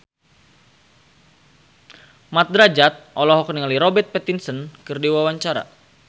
Mat Drajat olohok ningali Robert Pattinson keur diwawancara